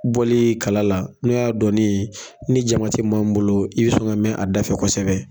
Bɔli kala la n'o y'a donni ni jama tɛ maa min bolo, i bɛ sɔn ka mɛn a dafɛ kosɛbɛ.